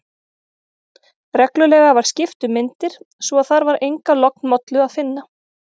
Reglulega var skipt um myndir, svo að þar var enga lognmollu að finna.